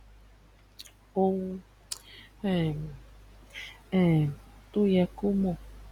òun um um tó yẹ kó mọ